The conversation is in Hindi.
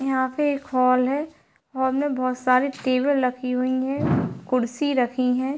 यहां पे एक हॉल है हॉल मे बहुत सारी टेबल रखी हुई है कुर्सी रखी है।